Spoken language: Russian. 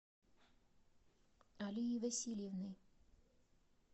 алией васильевной